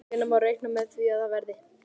Hvenær má reikna með að það verði?